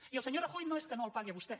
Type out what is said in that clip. i el senyor rajoy no és que no el pagui a vostè